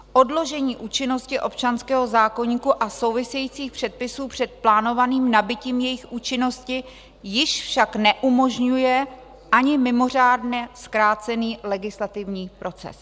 Odložení účinnosti občanského zákoníku a souvisejících předpisů před plánovaným nabytím jejich účinnosti již však neumožňuje ani mimořádně zkrácený legislativní proces.